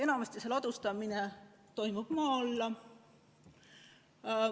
Enamasti see ladustamine toimub maa alla.